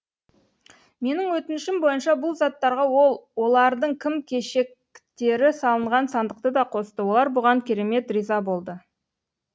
менің өтінішім бойынша бұл заттарға ол олардың киім кешектері салынған сандықты да қосты олар бұған керемет риза болды